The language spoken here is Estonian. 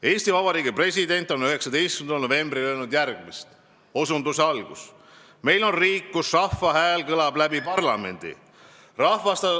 Eesti Vabariigi president ütles 19. novembril järgmist: "Meil on riik, kus rahva hääl kõlab läbi parlamendi.